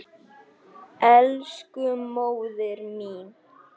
Elsku móðir mín.